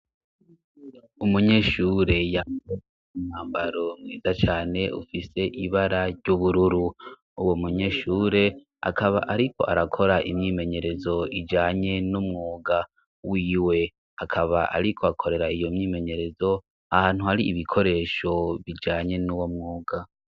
Umunyeshure yambaye umwambaro mwiza cane ufise ibara ry'ubururu. Uwo munyeshure akaba ariko arakora imyimenyerezo ijanye n'umwuga wiwe akaba ariko akorera iyo myimenyerezo ahantu hari ibikoresho bijanye n'uwo mwuga.